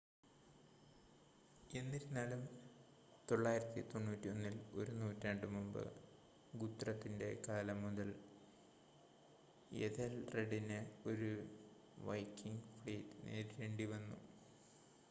എന്നിരുന്നാലും 991-ൽ ഒരു നൂറ്റാണ്ട് മുമ്പ് ഗുത്രത്തിൻ്റെ കാലം മുതൽ എഥെൽറെഡിന് ഒരു വൈക്കിംഗ് ഫ്ലീറ്റ് നേരിടേണ്ടി വന്നു